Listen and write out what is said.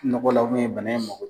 Nɔgɔ la bana in mako